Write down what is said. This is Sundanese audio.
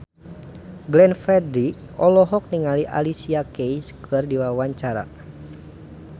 Glenn Fredly olohok ningali Alicia Keys keur diwawancara